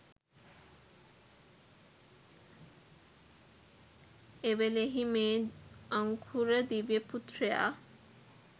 එවෙලෙහි මේ අංකුර දිව්‍ය පුත්‍රයා